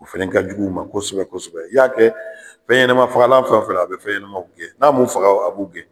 O fɛnɛ ka jugu u ma kosɛbɛ kosɛbɛ. I y'a kɛ fɛn ɲɛnama fagalan fɛn fɛn a be fɛnw gɛn, n'a m'u faga a b'u gɛn.